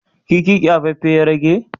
kifi kyafaffen ya rage?